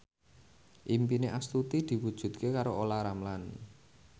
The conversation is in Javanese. impine Astuti diwujudke karo Olla Ramlan